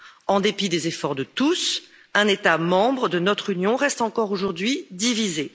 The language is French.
En dépit des efforts de tous, un État membre de notre Union reste encore aujourd'hui divisé.